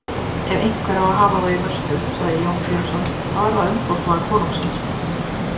Ef einhver á að hafa þá í vörslu, sagði Jón Grímsson,-þá er það umboðsmaður konungsins.